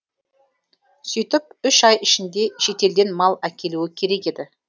сөйтіп үш ай ішінде шетелден мал әкелуі керек еді